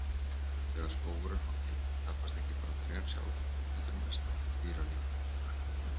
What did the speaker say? Þegar skógur er hogginn, tapast ekki bara trén sjálf heldur mest allt dýralífið.